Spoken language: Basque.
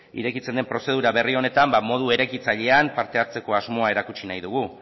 irekitzen den prozedura berri honetan ba modu eraikitzailean parte hartzeko asmoa erakutsi nahi dugu